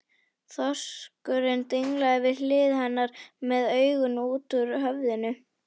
Þorskurinn dinglaði við hlið hennar með augun út úr höfðinu.